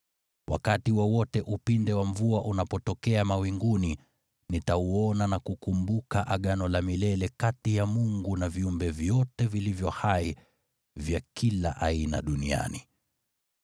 Wakati wowote upinde wa mvua unapotokea mawinguni, nitauona na kukumbuka Agano la milele kati ya Mungu na viumbe vyote vilivyo hai vya kila aina duniani.”